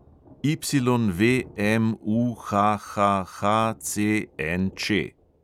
YVMUHHHCNČ